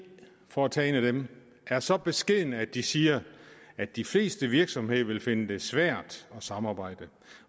for nu at tage dem er så beskedne at de siger at de fleste virksomheder vil finde det svært at samarbejde